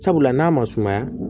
Sabula n'a ma sumaya